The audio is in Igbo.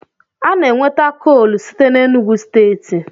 A na-enweta koolu site n'Enugwu steeti.